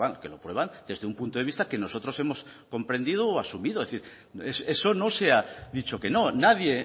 que lo prueban desde un punto de vista que nosotros hemos comprendido o asumido es decir eso no se ha dicho que no nadie